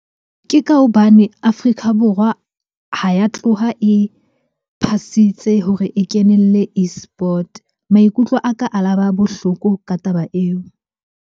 Ke ka hobane Afrika Borwa ha ya tloha e phasitse hore e kenelle eSport. Maikutlo a ka a la ba bohloko ka taba eo.